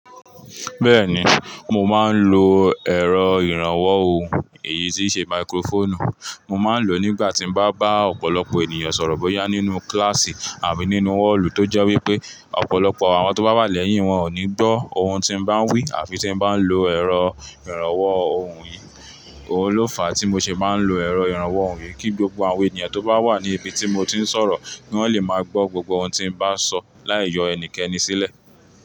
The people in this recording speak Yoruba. Bẹ́ẹ̀ni, mo máa ń lo ẹ̀rọ ìrànwọ́ ohùn, èyí tí ṣe máíkírófọ̀nù. Mo máa ń lò ó nígbà tí mo bá bá ọ̀pọ̀lọpọ̀ ènìyàn sọ̀rọ̀ bóyá nínú kíláàsì àbí nínú họ́ọ̀lù tó jẹ́ wípé, ọ̀pọ̀lọpọ̀ àwọn tó bá wà lẹ́yìn wọn ò ní gbọ́ ohun tí mo bá ń wí àfi tí mo bá ń lo ẹ̀rọ ìrànwọ́ ohùn yìí. Ó ló fàá tí mo ṣe bá ń lo ẹ̀rọ ìrànwọ́ ohùn yìí, kí gbogbo àwọn ènìyàn tó bá wà ní ibi tí mo ti ń sọ̀rọ̀, pé wọ́n lè máa gbọ́ gbogbo ohun tí mo bá sọ láì yọ ẹnikẹ́ni sílẹ̀